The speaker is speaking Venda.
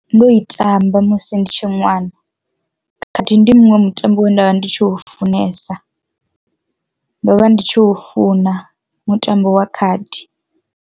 Ndo i tamba musi ndi tshe ṅwana khadi ndi muṅwe mutambo we nda vha ndi tshi u funesa, do vha ndi tshi u funa mutambo wa khadi.